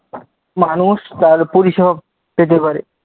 মানুষ তার পরিষেবা পেতে পারে।